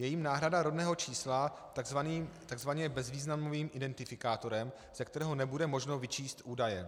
Je jím náhrada rodného čísla tzv. bezvýznamovým identifikátorem, z kterého nebude možno vyčíst údaje.